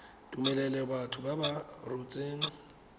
tumelelo batho ba ba rotseng